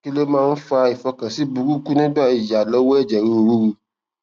kí ló máa ń fa ifokansi buruku nigba iya lowo eje ruru ruru